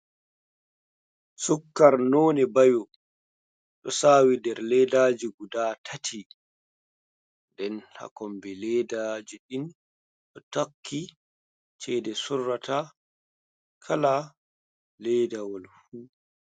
Sukkar none bayo ɗo sawi dar ledaji guda tati, nden hakombe leda jiɗin ɗo tarki ceda surrata kala ledawalfu.